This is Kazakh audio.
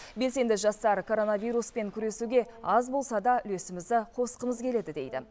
белсенді жастар коронавируспен күресуге аз болса да үлесімізді қосқымыз келеді дейді